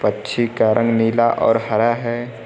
पक्षी का रंग नीला और हरा है।